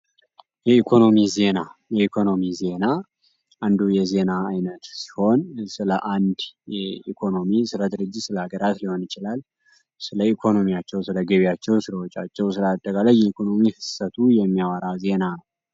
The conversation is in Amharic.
የኢኮኖሚ ዜና የኢኮኖሚ ዜና አንዱ የዜና አይነት ሲሆን ስለ ስለ አንድ ኢኮኖሚ ስለ ድርጅታቸው ፣ስለ ሀገራቸው ሊሆን ይችላል ኢኮኖሚ ስለ ገበያቸው ስለ ስራዎቻቸው አጠቃላይ የኢኮኖሚ ፍሰት የሚያወራ ዜና ነው።